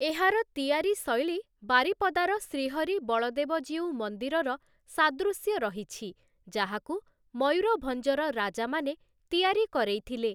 ଏହାର ତିଆରି ଶୈଳୀ ବାରିପଦାର ଶ୍ରୀହରି ବଳଦେବ ଜୀଉ ମନ୍ଦିରର ସାଦୃଶ୍ୟ ରହିଛି ଯାହାକୁ ମୟୂରଭଞ୍ଜର ରାଜାମାନେ ତିଆରି କରେଇଥିଲେ ।